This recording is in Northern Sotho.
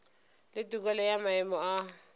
le tokelo ya maemo a